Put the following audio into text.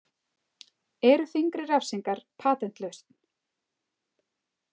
Eru þyngri refsingar „patentlausn“ ?